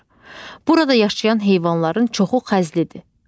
Burada yaşayan heyvanların çoxu xəzlidir.